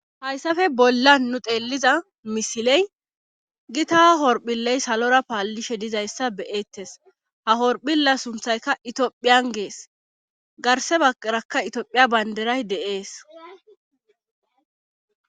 Hayssafe bolla nu xeeliza misiley gi taha horphiley salora paallishe dizayssa beyettes ha horphila sunthayka itiophiyan gees garse baqarakka itiophiya baynderay de7ees